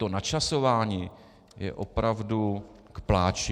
To načasování je opravdu k pláči.